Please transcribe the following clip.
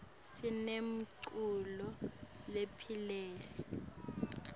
sinemculo lopholile